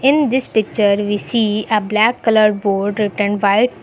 in this picture we see a black colour board written white.